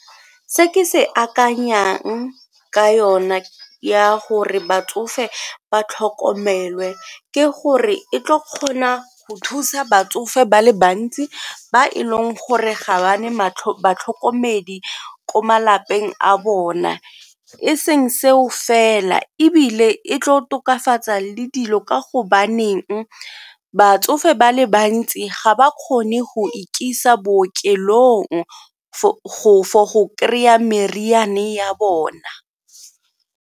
Se ke se akanyang ka yona ya gore batsofe ba tlhokomelwe ke gore e tlo kgona go thusa batsofe ba le bantsi ba e leng gore ga ba ne batlhokomedi ko malapeng a bone e seng seo fela ebile e tlo tokafatsa le dilo ka gobaneng batsofe ba le bantsi ga ba kgone go ikisa bookelong for go kry-a meriana ya bona.